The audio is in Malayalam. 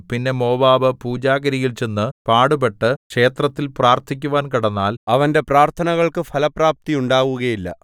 പിന്നെ മോവാബ് പൂജാഗിരിയിൽ ചെന്നു പാടുപെട്ടു ക്ഷേത്രത്തിൽ പ്രാർത്ഥിക്കുവാൻ കടന്നാൽ അവന്റെ പ്രാർത്ഥനകൾക്ക് ഫലപ്രാപ്തിയുണ്ടാവുകയില്ല